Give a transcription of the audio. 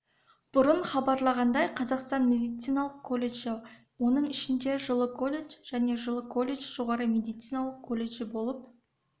бұрын хабарлағандай қазақстанның медициналық колледжі оның ішінде жылы колледж және жылы колледж жоғары медициналық колледжі болып